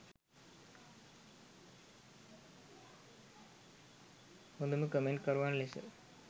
හොඳම කමෙන්ට් කරුවන් ලෙස